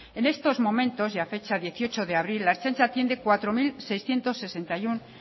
en estos momentos y a fecha dieciocho de abril la ertzaintza atiende cuatro mil seiscientos sesenta y uno